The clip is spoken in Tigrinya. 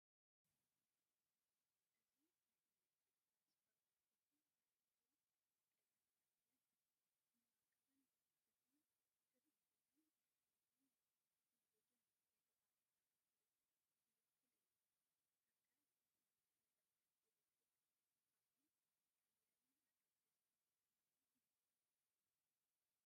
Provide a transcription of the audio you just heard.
እዙይ ናይ ኤሌክትሪክ ትራንስፎርመርን እቲ ዝሕዞ ቀጠልያ ብረት መዋቕርን እዩ። እዚ ትርኢት እዚ ንሓይልን ቴክኖሎጅን ዘይተቛረጸ ኣገልግሎትን ዝውክል እዩ። ኣካል መሰረተ ልምዓት ኤሌክትሪክ ምዃኑ ሓያልን ኣገዳስን ስምዒት ይህብ።